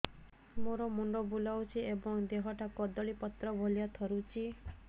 ମୋର ମୁଣ୍ଡ ବୁଲାଉଛି ଏବଂ ଦେହଟା କଦଳୀପତ୍ର ଭଳିଆ ଥରୁଛି